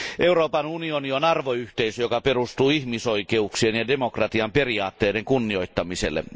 Euroopan unioni on arvoyhteisö, joka perustuu ihmisoikeuksien ja demokratian periaatteiden kunnioittamiselle.